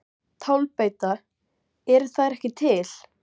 Tálbeita: Eru þær ekki til?